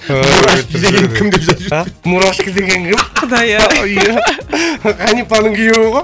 ғанипаның күйеуі ғой